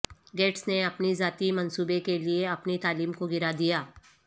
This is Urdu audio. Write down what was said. گیٹس نے اپنے ذاتی منصوبے کے لئے اپنی تعلیم کو گرا دیا